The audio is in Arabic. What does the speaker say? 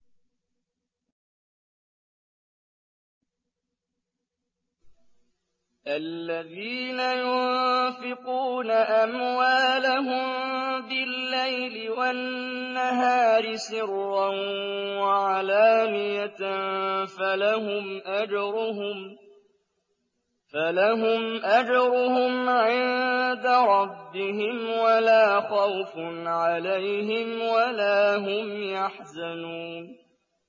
الَّذِينَ يُنفِقُونَ أَمْوَالَهُم بِاللَّيْلِ وَالنَّهَارِ سِرًّا وَعَلَانِيَةً فَلَهُمْ أَجْرُهُمْ عِندَ رَبِّهِمْ وَلَا خَوْفٌ عَلَيْهِمْ وَلَا هُمْ يَحْزَنُونَ